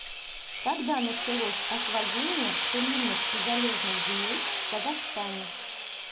когда началось освоение целинных и залежных земель в казахстане